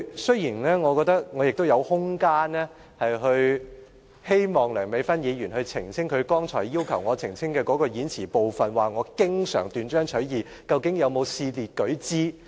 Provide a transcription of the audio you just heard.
雖然我覺得我亦有空間，讓梁美芬議員澄清她剛才要求我澄清的言詞部分，究竟她說我經常斷章取義，能否試列舉之？